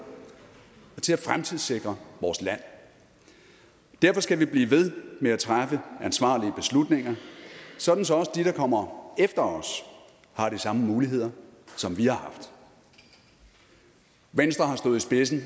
og til at fremtidssikre vores land derfor skal vi blive ved med at træffe ansvarlige beslutninger sådan så også de der kommer efter os har de samme muligheder som vi har haft venstre har stået i spidsen